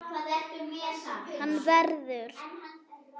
Hann verður.